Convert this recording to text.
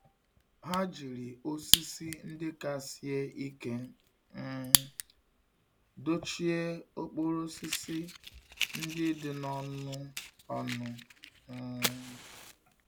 Ha jiri osisi ndị ka sie ike um dochie okporo osisi ndị dị n'ọnụ ọnụ. um